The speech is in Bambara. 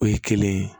O ye kelen ye